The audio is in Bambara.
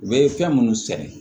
U bɛ fɛn minnu sɛnɛ